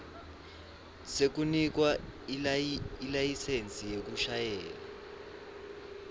sekunikwa ilayisensi yekushayela